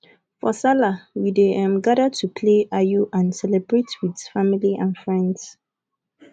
for sallah we dey um gather to play ayo and celebrate with family and friends